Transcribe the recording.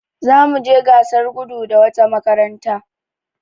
Za mu je gasar gudu da wata makaranta.